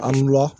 An wula